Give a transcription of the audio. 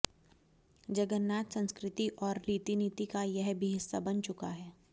जगन्नाथ संस्कृति और रीतिनीति का यह भी हिस्सा बन चुका है